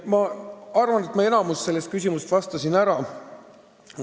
" Ma arvan, et suuremale osale sellest küsimusest ma vastasin ära.